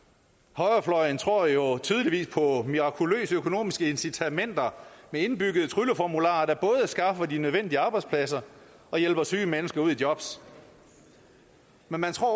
højrefløjen tror jo tydeligvis på mirakuløse økonomiske incitamenter med indbyggede trylleformularer der både skaffer de nødvendige arbejdspladser og hjælper syge mennesker ud i job men man tror